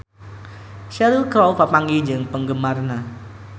Cheryl Crow papanggih jeung penggemarna